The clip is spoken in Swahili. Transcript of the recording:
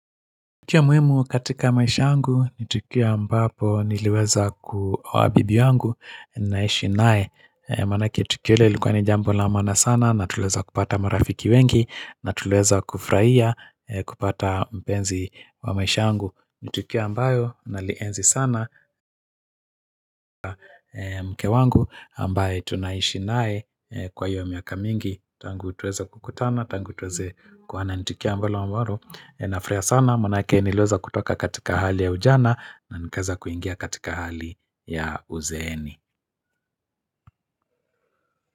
Tukio muhimu katika maisha yangu, ni tukio ambapo niliweza kuoa bibi yangu, ninaishi naye. Maanake tukio ile lilikuwa ni jambo la maana sana, natuliweza kupata marafiki wengi, natuliweza kufurahia, kupata mpenzi wa maisha angu. Ni tukio ambayo, nalienzi sana mke wangu, ambaye tunaishi naye kwa iyo miaka mingi, tangu tuweza kukutana, tangu tuweze kuoana ni tukio ambalo ninafurahia sana maanake niliweza kutoka katika hali ya ujana na nikaeza kuingia katika hali ya uzeeni.